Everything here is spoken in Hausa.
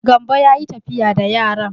Gambo ya yi tafiya da yaran.